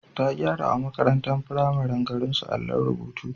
Ta gyarawa makarantar firamaren garinsu allon rubutu.